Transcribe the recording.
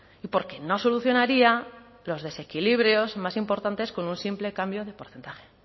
y porque no solucionaría los desequilibrios más importantes con un simple cambio de porcentaje